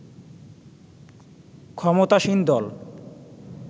ক্ষমতাসীন দল